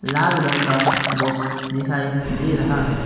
लाल रंग का बॉक्स दिखाई दे रहा है।